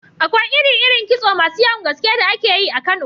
Akwai iri-irin kitso masu yawan gaske da ake yi a Kano.